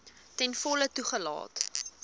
ten volle toegelaat